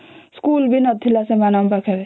school ବି ନଥିଲା ସେମାନଙ୍କ ପାଖରେ